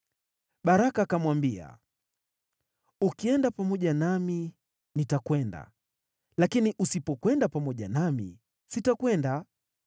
Baraka akamwambia, “Ukienda pamoja nami nitakwenda, lakini usipokwenda pamoja nami, sitakwenda.”